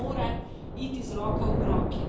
To mora iti z roko v roki.